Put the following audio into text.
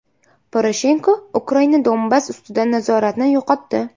Poroshenko: Ukraina Donbass ustidan nazoratni yo‘qotdi.